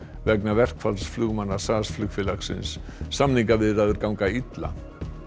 vegna verkfalls flugmanna SAS flugfélagsins samningaviðræður ganga illa